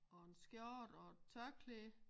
Og en skjorte og et tørklæde